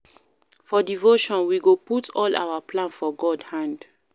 For devotion, we go put all our plan for God hand.